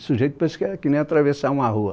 O sujeito pensa que é que nem atravessar uma rua.